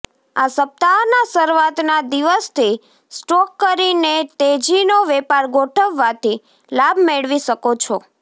આ સપ્તાહના શરૂઆતના દિવસથી સ્ટોક કરીને તેજીનો વેપાર ગોઠવવાથી લાભ મેળવી શકો છો